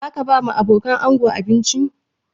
Za ka ba wa abokanan ango abinci?